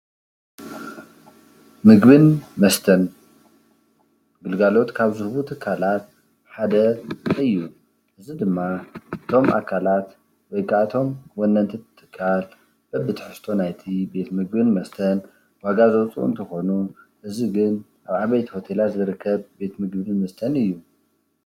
ምግቢን መስተን ግልጋሎት ካብ ዝህቡ ትካላት ሓደ ምግቢ እዩ፡፡ እዚ ድማ እቶም አካላት ወይ ካዓ እቶም ወነንቲ ትካል በቢ ትሕዝቶ ናይቲ ቤት ምግቢን መስተን ዋጋ ዘውፅኡ እንትኾኑ፤ እዚ ግን አብ ዓበይቲ ሆቴላት ዝርከብ ቤት ምግቢን መስተን እዩ፡፡